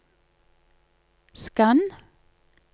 skann